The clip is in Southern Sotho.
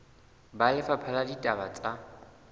ba lefapha la ditaba tsa